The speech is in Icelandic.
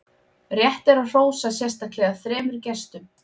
rétt er að hrósa sérstaklega þremur gestum